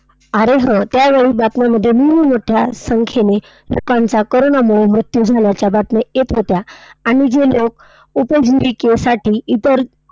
अरे हो, त्यावेळी बातम्यांमध्येही मोठ्या संख्येने लोकांचा कोरोनामुळे मृत्यू झाल्याच्या बातम्या येत होत्या. आणि जे लोक उपजीविकेसाठी इतर